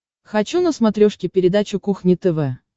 хочу на смотрешке передачу кухня тв